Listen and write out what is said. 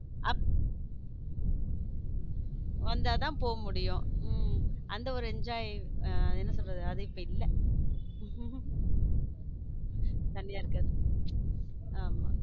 அப் வந்தா தான் போ முடியும் அந்த ஒரு enjoy அது என்ன சொல்றது அது இப்போ இல்ல தனியா இருக்கிறது ஆமா.